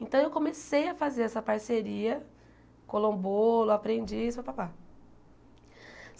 Então, eu comecei a fazer essa parceria, colou um bolo, aprendi isso pá, pá, pá.